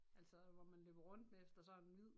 Altså hvor man løber rundt efter sådan en hvid